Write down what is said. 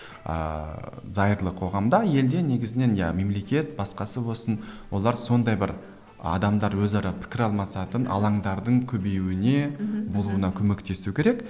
ыыы зайырлы қоғамда елде негізінен иә мемлекет басқасы болсын олар сондай бір адамдар өзара пікір алмасатын алаңдардың көбеюіне мхм болуына көмектесуі керек